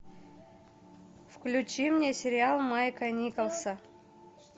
включи мне сериал майка николса